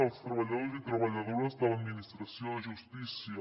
dels treballadors i treballadores de l’administració de justícia